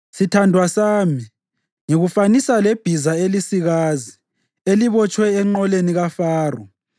Sithandwa sami, ngikufanisa lebhiza elisikazi elibotshwe enqoleni kaFaro.